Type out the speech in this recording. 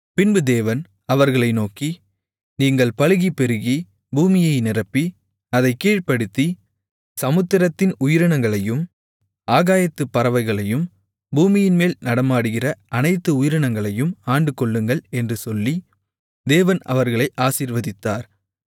பின்பு தேவன் அவர்களை நோக்கி நீங்கள் பலுகிப் பெருகி பூமியை நிரப்பி அதைக் கீழ்ப்படுத்தி சமுத்திரத்தின் உயிரினங்களையும் ஆகாயத்துப் பறவைகளையும் பூமியின்மேல் நடமாடுகிற அனைத்து உயிரினங்களையும் ஆண்டுகொள்ளுங்கள் என்று சொல்லி தேவன் அவர்களை ஆசீர்வதித்தார்